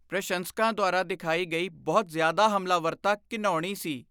ਪ੍ਰਸ਼ੰਸਕਾਂ ਦੁਆਰਾ ਦਿਖਾਈ ਗਈ ਬਹੁਤ ਜ਼ਿਆਦਾ ਹਮਲਾਵਰਤਾ ਘਿਣਾਉਣੀ ਸੀ।